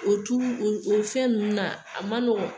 O tulu o fɛn ninnu na, a ma nɔgɔn.